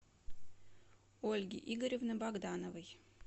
ольги игоревны богдановой